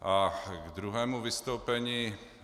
A k druhému vystoupení.